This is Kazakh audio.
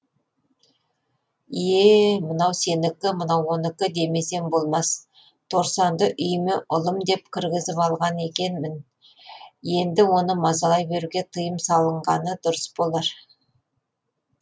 ие мынау сенікі мынау оныкі демесем болмас торсанды үйіме ұлым деп кіргізіп алған екемін енді оны мазалай беруге тыйым салынғаны дұрыс болар